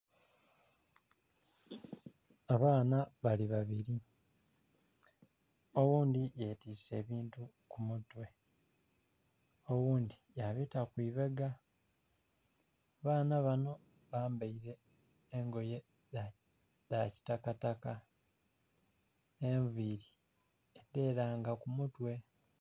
Abaana bali babiri oghundhi yetise ebintu kumutwe oghundhi yabita kwibega, abaana banho bambeire engoye dhakitakataka enviiri dheranga kumutwe.